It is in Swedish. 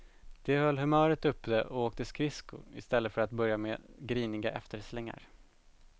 De höll humöret uppe och åkte skridsko istället för att börja med griniga efterslängar.